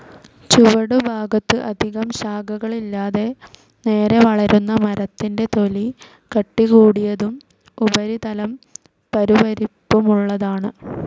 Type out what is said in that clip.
ചുവടുഭാഗത്തു അധികം ശാഖകളില്ലാതെ നേരെ വളരുന്ന മരത്തിൻ്റെ തൊലി കട്ടികൂടിയതും ഉപരിതലം പരുപരിപ്പുമുള്ളതുമാണ്.